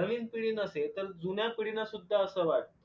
नवीन पिढी नसे तर जुन्या पिढीनांसुद्धा अस वाटत